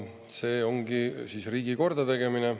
See ongi siis riigi kordategemine.